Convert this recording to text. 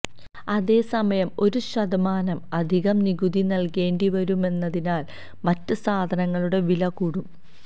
അതേസമയം ഒരു ശതമാനം അധികം നികുതി നൽകേണ്ടിവരുന്നതിനാൽ മറ്റ് സാധനങ്ങളുടെ വില കൂടും